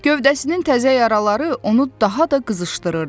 Gövdəsinin təzə yaraları onu daha da qızışdırırdı.